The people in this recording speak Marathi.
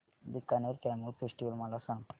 बीकानेर कॅमल फेस्टिवल मला सांग